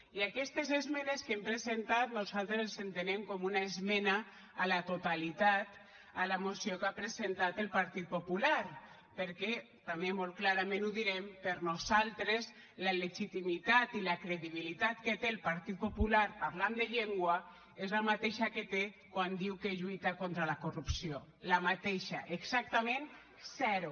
i aquestes esmenes que hem presentat nosaltres les entenem com una esmena a la totalitat a la moció que ha presentat el partit popular perquè també molt clarament ho direm per nosaltres la legitimitat i la credibilitat que té el partit popular parlant de llengua és la mateixa que té quan diu que lluita contra la corrupció la mateixa exactament zero